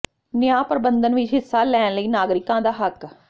ਨਿਆਂ ਪ੍ਰਬੰਧਨ ਵਿਚ ਹਿੱਸਾ ਲੈਣ ਲਈ ਨਾਗਰਿਕਾਂ ਦਾ ਹੱਕ